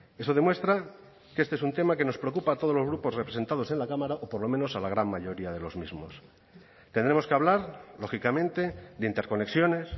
eso demuestra que este es un tema que nos preocupa a todos los grupos representados en la cámara o por lo menos a la gran mayoría de los mismos tendremos que hablar lógicamente de interconexiones